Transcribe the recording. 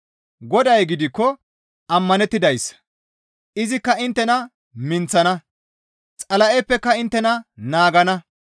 Goday gidikko ammanettidayssa; izikka inttena minththana; Xala7eppeka inttena naagana.